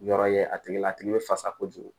Yɔrɔ ye a tigi la a tigi bɛ fasa kojugu